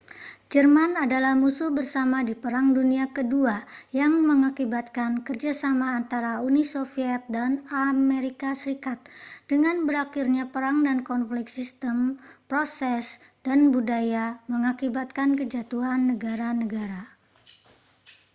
jerman adalah musuh bersama di perang dunia ke-2 yang mengakibatkan kerja sama antara uni soviet dan as dengan berakhirnya perang dan konflik sistem proses dan budaya mengakibatkan kejatuhan negara-negara